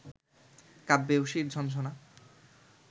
কাব্যে অসির ঝনঝনা